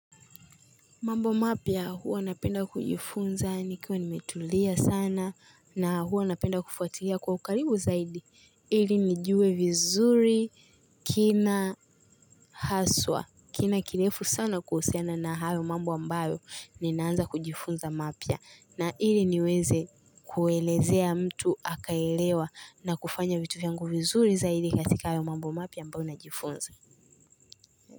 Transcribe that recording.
Mambo mapya huwa napenda kujifunza nikiwa nimetulia sana na huwa napenda kufuatilia kwa ukaribu zaidi ili nijue vizuri kina haswa kina kirefu sana kuhusiana na hayo mambo ambayo ninaanza kujifunza mapya na ili niweze kuelezea mtu akaelewa na kufanya vitu vyangu vizuri zaidi katika hayo mambo mapya ambayo najifunza.